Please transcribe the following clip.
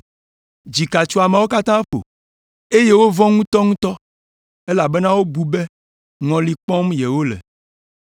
Dzika tso ameawo katã ƒo, eye wovɔ̃ ŋutɔŋutɔ, elabena wobu be ŋɔli kpɔm yewole.